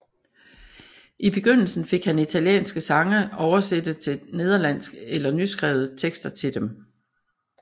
I begyndelsen fik han italienske sange oversætte til nederlandsk eller nyskrevet tekster til dem